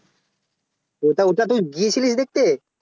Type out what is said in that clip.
ওটা ওটা তুই গিয়েছিলিস দেখতে